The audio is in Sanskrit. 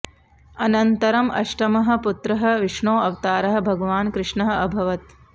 अनन्तरम् अष्टमः पुत्रः विष्णोः अवतारः भगवान् कृष्णः अभवत्